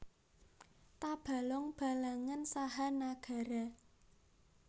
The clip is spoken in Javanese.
Tabalong Balangan saha Nagara